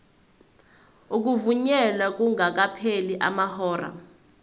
ukuvunyelwa kungakapheli amahora